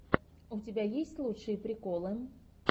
у тебя есть лучшие приколы